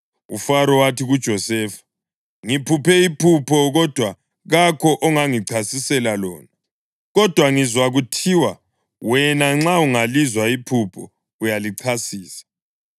UFaro wathi kuJosefa, “Ngiphuphe iphupho, kodwa kakho ongangichasisela lona. Kodwa ngizwa kuthiwa wena, nxa ungalizwa iphupho uyalichasisa.”